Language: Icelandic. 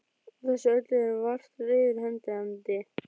Á þessu öllu eru vart reiður hendandi.